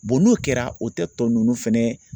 n'o kɛra o tɛ tɔ ninnu fɛnɛ